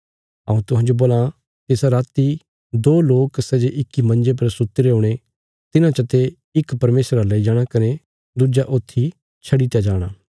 हऊँ तुहांजो बोलां तिसा राति दो लोक सै जे इक्की मंजे पर सुतीरे हुणे तिन्हां चा ते इक परमेशरा लेई जाणा कने दुज्जा ऊत्थी छडी दित्या जाणा